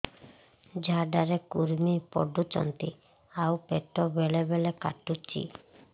ଝାଡା ରେ କୁର୍ମି ପଡୁଛନ୍ତି ଆଉ ପେଟ ବେଳେ ବେଳେ କାଟୁଛି